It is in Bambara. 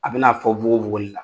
A bɛna fɔ fogofogo de la